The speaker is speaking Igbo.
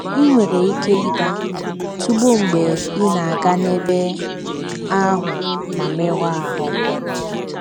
I nwere ike ịda tụbọọ mgbe ị na - aga n’ebe ahụ ma merụọ ahụ́.